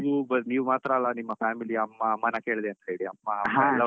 ನೀವು ನೀವು ಮಾತ್ರ ಅಲ್ಲ ನಿಮ್ಮ family ಅಮ್ಮ ಅಮ್ಮನ ಕೇಳ್ದೆ ಅಂತ ಹೇಳಿ ಅಮ್ಮ ಅಪ್ಪಎಲ್ಲಾಒಟ್ಟಿಗೆ.